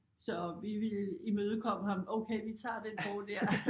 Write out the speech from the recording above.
Så vi ville imødekomme ham okay vi tager den bog dér